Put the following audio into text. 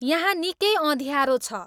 यहाँ निकै अँध्यारो छ